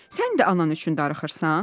Sən də anan üçün darıxırsan?